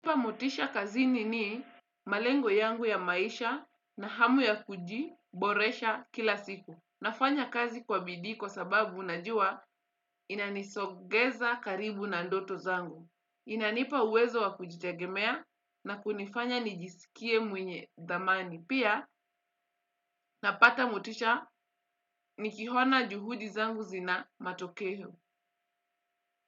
Kupa motisha kazini ni malengo yangu ya maisha na hamu ya kujiboresha kila siku. Nafanya kazi kwa bidii kwa sababu najua inanisogeza karibu na ndoto zangu. Inanipa uwezo wa kujitegemea na kunifanya nijisikie mwenye dhamani. Pia napata motisha nikihona juhudi zangu zina matokeho.